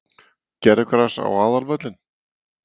Gervigras á aðalvöllinn?